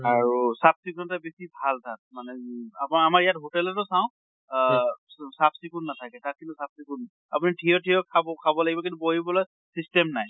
আৰু চাফ চিকূণতা বেছি ভাল তাত। মানে অম আপোনাৰ আমাৰ ইয়াত hotel তো চাওঁ আহ চাফ চিকূণ নাথাকে। তাত কিন্তু চাফ চিকূণ। আপুনি থিয় থিয় খাব খাব লাগিব, কিন্তু বহিবলৈ system নাই।